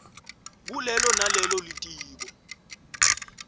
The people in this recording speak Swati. kulelo nalelo litiko